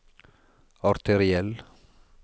arteriell